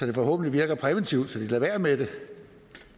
det forhåbentlig virker præventivt så de lader være med det det